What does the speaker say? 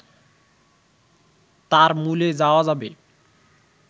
তার মূলে যাওয়া যাবে